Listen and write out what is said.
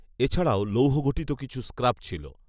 এছাড়াও লৌহঘটিত কিছু স্ক্রাপ ছিল